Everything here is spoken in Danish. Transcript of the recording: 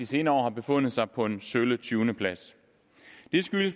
senere år befundet sig på en sølle tyvendeplads